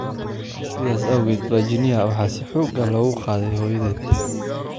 "Sidaas awgeed, Virginia waxaa si xoog ah loogu qaaday hooyadeed."